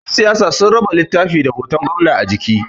Yansiyasa sun taba littafi da hoton gwamna a jiki